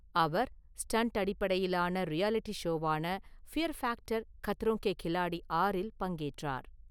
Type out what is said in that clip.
அவர் stunt அடிப்படையிலான reality ஷோவான fear factor Khatron Ke Khiladi ஆறில் பங்கேற்றார்.